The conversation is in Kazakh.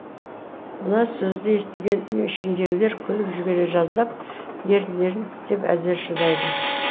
мына сөзді естіген үй ішіндегілер күліп жібере жаздап еріндерін тістеп әзер шыдайды